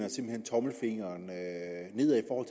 tommelfingeren nedad over